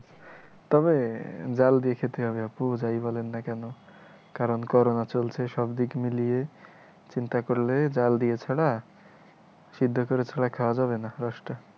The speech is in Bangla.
তবে জাল দিয়ে খেতে হবে আপু, যাই বলেন না কেন । কারন করনা চলসে, সব দিক মিলিয়ে চিন্তা করলে জাল দিয়ে ছাড়া, সিদ্ধ করা ছাড়া খাওয়া যাবে না রসটা ।